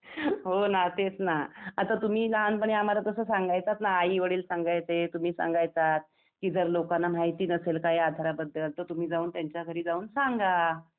हो ना तेच ना. आता तुम्ही लहानपणी आम्हाला तस सांगायचात ना, आई - वडील सांगायचे, तुम्ही सांगायचात कि जर लोकांना माहिती नसेल काही आधाराबद्दल तर तुम्ही जाऊन त्यांच्या घरी जाऊन सांगा